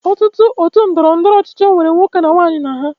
Ọtụtụ otu ndọrọndọrọ ọchịchị nwere nwoke na nwaanyị na ha